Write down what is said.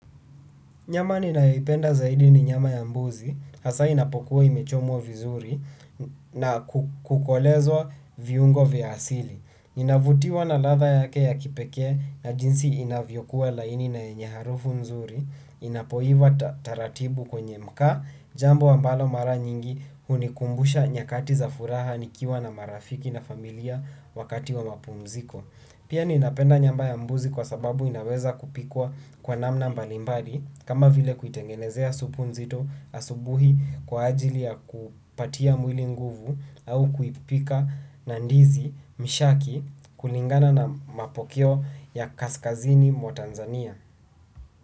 Nyama ninayoipenda zaidi ni nyama ya mbuzi, hasa inapokuwa imechomwa vizuri na kukolezwa viungo vya asili. Inavutiwa na ladha yake ya kipeke na jinsi inavyokuwa laini na yenye harufu nzuri, inapoiva taratibu kwenye mkaa, jambo ambalo mara nyingi hunikumbusha nyakati za furaha nikiwa na marafiki na familia wakati wa mapumziko. Pia ninapenda nyama ya mbuzi kwa sababu inaweza kupikwa kwa namna mbalimbali kama vile kuitengenezea supu nzito asubuhi kwa ajili ya kupatia mwili nguvu au kuipika na ndizi mshaki kulingana na mapokeo ya kaskazini mwa Tanzania.